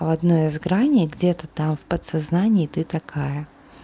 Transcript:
одной из граней где-то там в подсознании ты такая